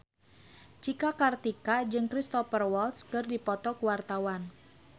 Cika Kartika jeung Cristhoper Waltz keur dipoto ku wartawan